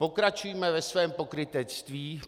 Pokračujme ve svém pokrytectví.